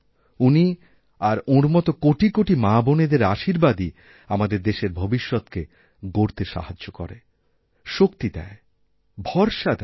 উনি আর ওঁর মতোকোটি কোটি মাবোনেদের আশীর্বাদই আমাদের দেশের ভবিষ্যৎকে গড়তে সাহায্য করে শক্তিদেয় ভরসা দেয়